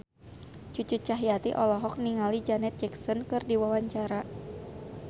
Cucu Cahyati olohok ningali Janet Jackson keur diwawancara